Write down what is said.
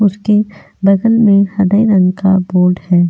उसके बगल में हरे रंग का बोर्ड है.